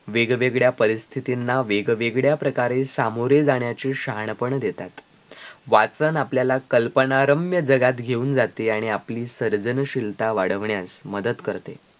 वेगवेगळ्या परिस्थितींना वेगवेगळ्या प्रकारे सामोरे जाण्याचे शहाणपण देतात वाचन आपल्याला कल्पनारम्य जगात घेऊन जाते आणि आपली सर्जनशीलता वाढवण्यास मदत करते